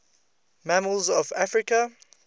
mammals of africa